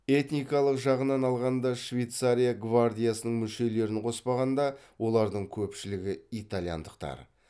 этникалық жағынан алғанда швейцария гвардиясының мүшелерін қоспағанда олардың көпшілігі итальяндықтар